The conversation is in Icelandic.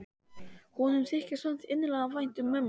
Honum þykir samt innilega vænt um mömmu sína.